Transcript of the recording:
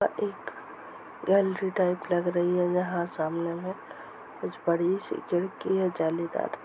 gallery type लग रही है यहां सामने में कुछ बड़ी सीक्रेट की है जालीदार--